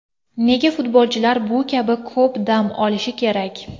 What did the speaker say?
Nega futbolchilar bu kabi ko‘p dam olishi kerak?